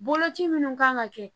Boloci minnu kan ka kɛ